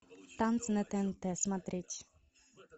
танцы на тнт смотреть